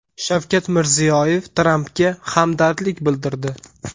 Shavkat Mirziyoyev Trampga hamdardlik bildirdi.